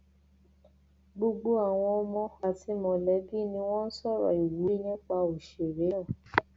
gbogbo àwọn ọmọ àti mọlẹbí ni wọn sọrọ ìwúrí nípa òṣèré náà